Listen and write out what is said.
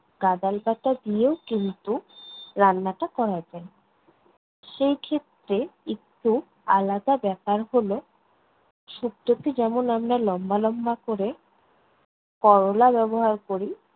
গাঁদাল পাতা দিয়েও কিন্তু রান্নাটা করা যায়। সেইক্ষেত্রে একটু আলাদা ব্যাপার হলো, শুক্তোতে যেমন আমরা লম্বা লম্বা করে করলা ব্যবহার করি